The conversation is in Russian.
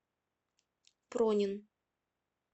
пронин